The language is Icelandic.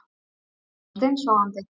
Ég var steinsofandi